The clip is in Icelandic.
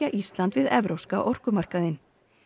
Ísland við evrópska orkumarkaðinn